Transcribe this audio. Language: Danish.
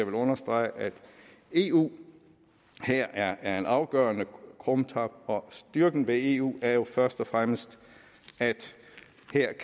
understrege at eu her er er en afgørende krumtap og styrken ved eu er jo først og fremmest